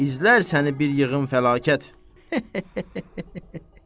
İzlər səni bir yığın fəlakət.